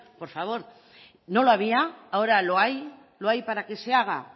por favor no lo había ahora lo hay lo hay para que se haga